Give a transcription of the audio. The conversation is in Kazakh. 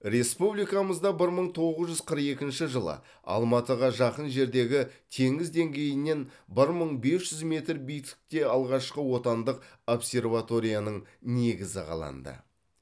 республикамызда бір мың тоғыз жүз қырық екінші жылы алматыға жақын жердегі теңіз деңгейінен бір мың бес жүз метр биіктікте алғашқы отандық обсерваторияның негізі қаланды